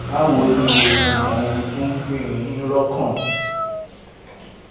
báwo ni o? mo mọ ohun tó ń gbé e yín lọ́kàn